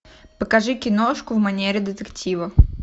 покажи киношку в манере детектива